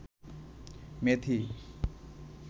মেথি